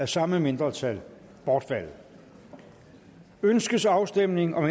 samme mindretal bortfaldet ønskes afstemning om